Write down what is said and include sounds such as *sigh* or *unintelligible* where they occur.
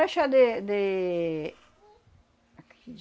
É o chá de, de... *unintelligible*